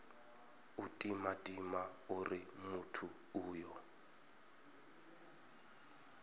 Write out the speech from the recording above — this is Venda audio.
u timatima uri muthu uyo